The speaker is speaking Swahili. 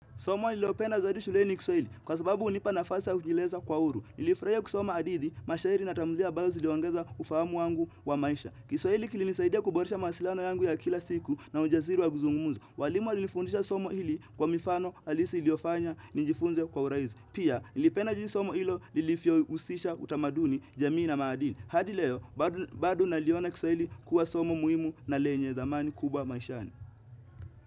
Somo nililopenda zaidi shulehi ni kiswahili, kwa sababu hunipa nafasi ya kujieleza kwa huru. Nilifurahia kusoma hadithi, mashairi natamdhilia ambazo ziliongeza ufahamu wangu wa maisha. Kiswahili kilinisaidia kuboresha mawasiliano yangu ya kila siku na ujasiri wa kuzungumza. Walimu walinifundisha somo hili kwa mifano halisi iliofanya nijifunze kwa urahizi. Pia, nilipena jinsi somo lilivyo husisha utamaduni, jamii na maadini. Hadi leo, bad bado naliona kiswahili kuwa somo muhimu na lenye thamani kubwa maishani.